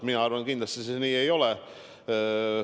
Mina arvan, et kindlasti see nii ei ole.